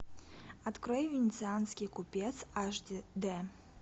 открой венецианский купец аш д